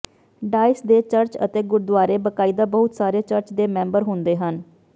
dais ਦੇ church ਅਤੇ ਗੁਰਦੁਆਰੇ ਬਾਕਾਇਦਾ ਬਹੁਤ ਸਾਰੇ ਚਰਚ ਦੇ ਮੈਂਬਰ ਹੁੰਦੇ ਹਨ